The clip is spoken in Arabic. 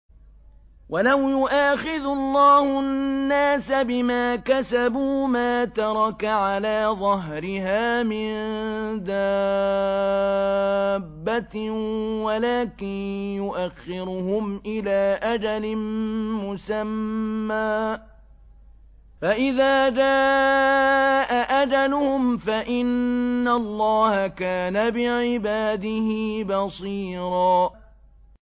وَلَوْ يُؤَاخِذُ اللَّهُ النَّاسَ بِمَا كَسَبُوا مَا تَرَكَ عَلَىٰ ظَهْرِهَا مِن دَابَّةٍ وَلَٰكِن يُؤَخِّرُهُمْ إِلَىٰ أَجَلٍ مُّسَمًّى ۖ فَإِذَا جَاءَ أَجَلُهُمْ فَإِنَّ اللَّهَ كَانَ بِعِبَادِهِ بَصِيرًا